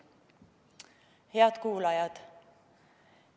Head kuulajad!